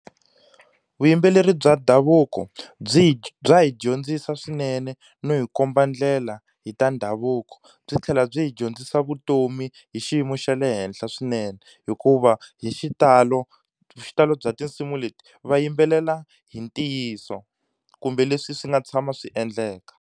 Vuyimbeleri bya ndhavuko byi hi bya hi dyondzisa swinene no hi komba ndlela hi ta ndhavuko, byi tlhela byi hi dyondzisa vutomi hi xiyimo xa le henhla swinene. Hikuva hi xitalo, xitalo bya tinsimu leti va yimbelela hi ntiyiso kumbe leswi swi nga tshama swi endleka.